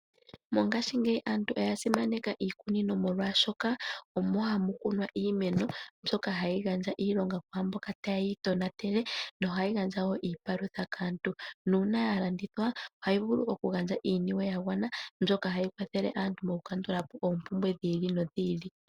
Mongashingeyi aantu oyasimaneka iikunino ,molwashoka omo hamu kunwa iimeno mbyoka hayi gandja iilonga kwa mboka taye yi tonatele ,na ohayi gandja wo iipalutha kaantu na una yalandithwa oha yi vulu okugandja iiyemo ya gwana mbyoka hayi kwathela aantu mo ku kandula po oompumbwe dhi ili nodhi ili.